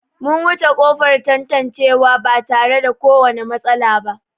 Mun wuce ƙofar tantancewa ba tare da kowane matsala ba.